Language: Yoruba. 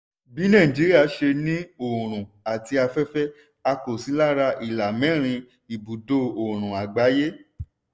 bí nàìjíría ṣe ní òòrùn àti afẹ́fẹ́ a kò sí lára ìlà mẹ́rin ibùdo òòrùn àgbáyé.